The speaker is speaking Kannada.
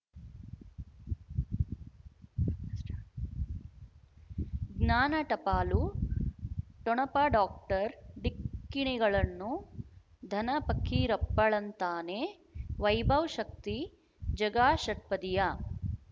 ಜ್ಞಾನ ಟಪಾಲು ಠೊಣಪ ಡಾಕ್ಟರ್ ಢಿಕ್ಕಿ ಣಗಳನ್ನು ಧನ ಫಕೀರಪ್ಪ ಳಂತಾನೆ ವೈಭವ್ ಶಕ್ತಿ ಝಗಾ ಷಟ್ಪದಿಯ